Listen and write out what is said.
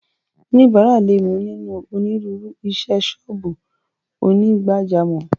Oníbàárà lè mú nínú onírúurú isẹ́ sọ́ọ̀bù onígbàjámọ̀.